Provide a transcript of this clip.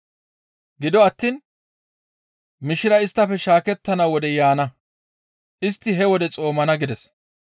Gido attiin mishiray isttafe shaakettana wodey yaana; istti he wode xoomana» gides.